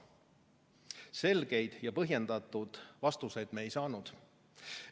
Selgeid ja põhjendatud vastuseid me ei saanud.